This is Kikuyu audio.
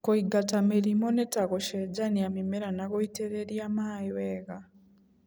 kũingata mĩrimũ nĩta gũcenjania mĩmera na gũitĩrĩrĩa maĩ wega.